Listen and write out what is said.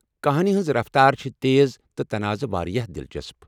كہانی ہنز رفتار چھِ تیز ، تہٕ تناضہٕ وارِیاہ دلچسپ ۔